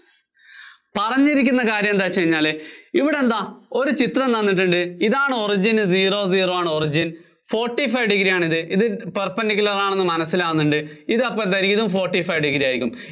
പറഞ്ഞിരിക്കുന്ന കാര്യം എന്താന്നു വച്ചുകഴിഞ്ഞാല് ഇവിടെ എന്താ ഒരു ചിത്രം തന്നിട്ടുണ്ട്, ഇതാണ് origin zero zero ആണ് origin. forty five degree ആണിത്, perpendicular ആണെന്ന് മനസ്സിലാകുന്നുണ്ട്. ഇത് അപ്പോ എന്താ ഇതും forty five degree ആയിരിയ്ക്കും